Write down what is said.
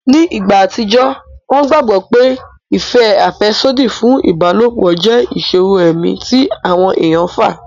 Ni ìgbà àtijọ́, wọ́n gbàgbọ́ pé ìfẹ́ àfẹ́sódì fún ìbálòpọ̀ jẹ́ ìṣòro ẹ̀mí tí àwọn èèyàn fà